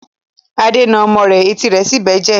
Ade ń na ọmọ rẹ̀ etí rẹ̀ sì ń bẹ́jẹ̀.